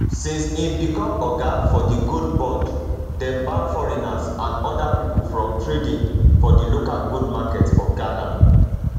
since im become oga for di gold board dem ban foreigners and oda pipo from trading for di local gold market for ghana